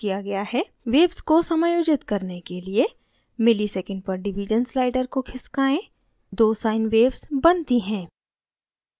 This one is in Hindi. waves को समायोजित करने के लिए msec/div slider को खिसकाएँ दो sine waves बनती हैं